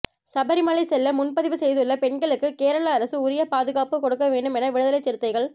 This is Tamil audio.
சபரிமலை செல்ல முன்பதிவு செய்துள்ள பெண்களுக்கு கேரளஅரசு உரிய பாதுகாப்பு கொடுக்க வேண்டும் என விடுதலைச் சிறுத்தைகள்